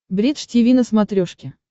бридж тиви на смотрешке